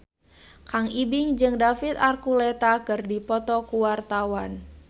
Kang Ibing jeung David Archuletta keur dipoto ku wartawan